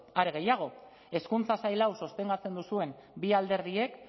are gehiago hezkuntza sail hau sostengatzen duzuen bi alderdiek